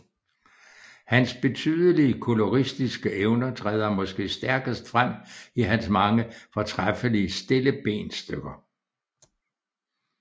Hans betydelige koloristiske evner træder måske stærkest frem i hans mange fortræffelige stillebensstykker